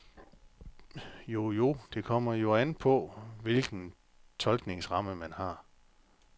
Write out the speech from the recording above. Jo, jo, det kommer jo an på, hvilken tolkningsramme man har.